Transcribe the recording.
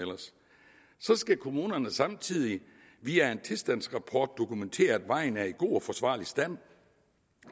så skal kommunerne samtidig via en tilstandsrapport dokumentere at vejen er i god og forsvarlig stand